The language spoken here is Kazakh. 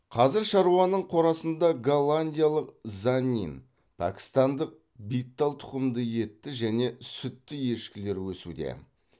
қазір шаруаның қорасында голландиялық заннин пәкістандық биттал тұқымды етті және сүтті ешкілер өсуде